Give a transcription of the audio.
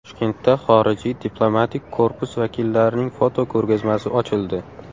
Toshkentda xorijiy diplomatik korpus vakillarining fotoko‘rgazmasi ochildi.